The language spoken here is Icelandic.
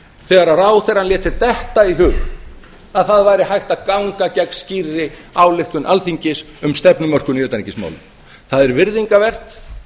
þegar ráðherrann lét sér detta í hug að það væri hægt að ganga gegn skýrri ályktun alþingis um stefnumörkun í utanríkismálum það er virðingarvert